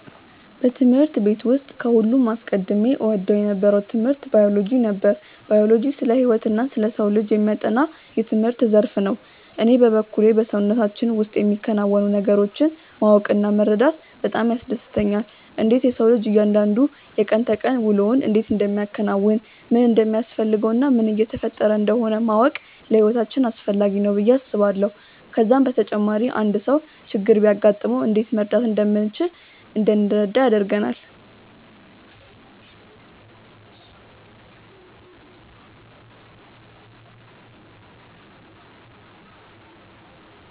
በትምህርት ቤት ውስጥ ከሁሉም አስቀድሜ እወደው የነበረው ትምህርት ባዮሎጂ ነበር። ባዮሎጂ ስለ ህይወትና ስለ ሰው ልጅ የሚያጠና የትምህርት ዘርፍ ነው። እኔ በበኩሌ በሰውነታችን ውስጥ የሚከናወኑ ነገሮችን ማወቅ እና መረዳት በጣም ያስደስተኛል። እንዴት የሰው ልጅ እያንዳንዱ የቀን ተቀን ውሎውን እንዴት እንደሚያከናውን፣ ምን እንደሚያስፈልገው እና ምን እየተፈጠረ እንደሆነ ማወቅ ለህይወታችን አስፈላጊ ነው ብዬ አስባለሁ። ከዛም በተጨማሪ አንድ ሰው ችግር ቢያጋጥመው እንዴት መርዳት እንደምንችል እንድንረዳ ያደርጋል።